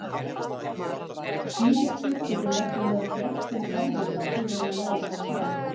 Blístur getur nefnilega gert þeim erfiðara fyrir að læra að tala.